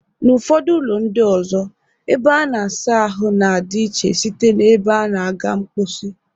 N'ụfọdụ ụlọ ndị ọzọ, ebe a na-asa ahụ na-adị iche site n'ebe a na-aga mkposi